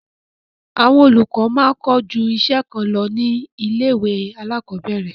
Àwọn olùkọ máa ń kọ́ ju iṣẹ́ kan lọ ní ilé-ìwé alákọ̀ọ́bẹ̀ẹ̀rẹ̀.